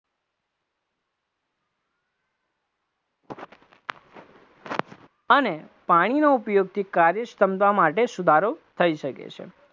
અને પાણીનો ઉપયોગથી કાર્યક્ષમતા માટે સુધારો થઇ શકે છે.